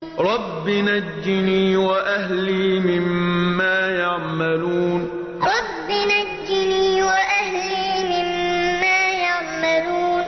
رَبِّ نَجِّنِي وَأَهْلِي مِمَّا يَعْمَلُونَ رَبِّ نَجِّنِي وَأَهْلِي مِمَّا يَعْمَلُونَ